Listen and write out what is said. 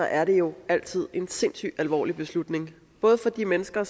er det jo altid en sindssyg alvorlig beslutning både for de mennesker